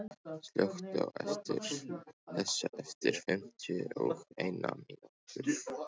Jagger, slökktu á þessu eftir fimmtíu og eina mínútur.